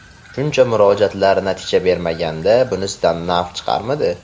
Shuncha murojaatlar natija bermaganda bunisidan naf chiqarmidi?